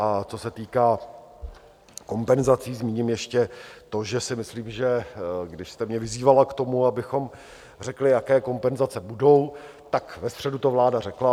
A co se týká kompenzací, zmíním ještě to, že si myslím, že když jste mě vyzývala k tomu, abychom řekli, jaké kompenzace budou, tak ve středu to vláda řekla.